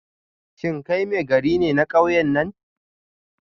Shin kai Maigari ne na kauyen nan?